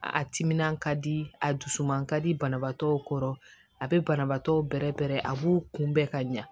A timinan ka di a dusu man ka di banabaatɔw kɔrɔ a be banabaatɔw bɛrɛbɛrɛ a b'u kunbɛn ka ɲa